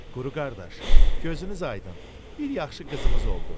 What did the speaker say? Quru qardaş, gözünüz aydın, bir yaxşı qızımız oldu.